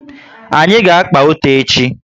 Anyị ga-akpà ute echi